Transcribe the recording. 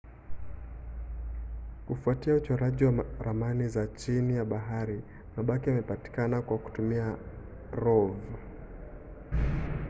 kufuatia uchoraji wa ramani za chini ya bahari mabaki yamepatikana kwa kutumia rov